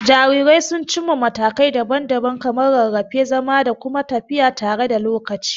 Jarirai sun cimma matakai daban-daban kamar rarrafe, zama, da kuma tafiya tare da lokaci.